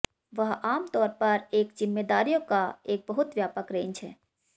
वह आम तौर पर जिम्मेदारियों का एक बहुत व्यापक रेंज है